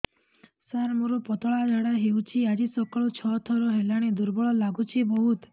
ସାର ମୋର ପତଳା ଝାଡା ହେଉଛି ଆଜି ସକାଳୁ ଛଅ ଥର ହେଲାଣି ଦୁର୍ବଳ ଲାଗୁଚି ବହୁତ